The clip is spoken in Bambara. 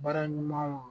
Baara ɲumanw